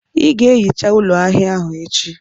Ị ga-ehicha ụlọ ahịa ahụ echi!